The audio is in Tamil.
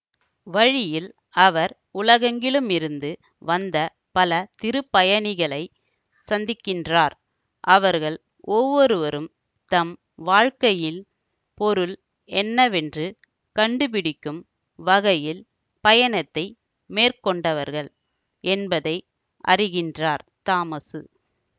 வழியில் அவர் உலகெங்கிலுமிருந்து வந்த பல திருப்பயணிகளைச் சந்திக்கின்றார் அவர்கள் ஒவ்வொருவரும் தம் வாழ்க்கையில் பொருள் என்னவென்று கண்டுபிடிக்கும் வகையில் பயணத்தை மேற்கொண்டவர்கள் என்பதை அறிகின்றார் தாமசு